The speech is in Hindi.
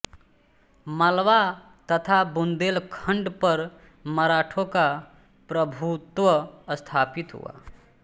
मालवा तथा बुंदेलखंड पर मराठों का प्रभुत्व स्थापित हुआ